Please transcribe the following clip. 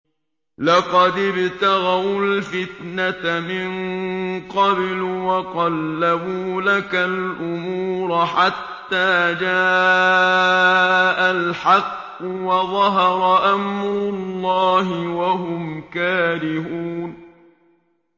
لَقَدِ ابْتَغَوُا الْفِتْنَةَ مِن قَبْلُ وَقَلَّبُوا لَكَ الْأُمُورَ حَتَّىٰ جَاءَ الْحَقُّ وَظَهَرَ أَمْرُ اللَّهِ وَهُمْ كَارِهُونَ